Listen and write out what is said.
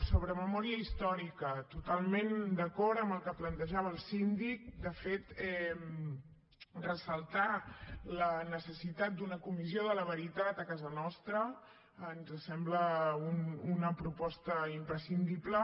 sobre memòria històrica totalment d’acord amb el que plantejava el síndic de fet ressaltar la necessitat d’una comissió de la veritat a casa nostra ens sembla una proposta imprescindible